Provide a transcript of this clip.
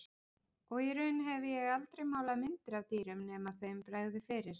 Og í raun hef ég aldrei málað myndir af dýrum nema þeim bregði fyrir.